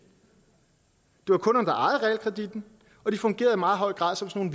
det var kunderne der ejede realkreditten og de fungerede i meget høj grad som sådan